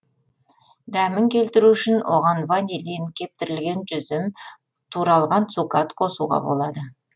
дәмін келтіру үшін оған ванилин кептірілген жүзім туралған цукат қосуға болады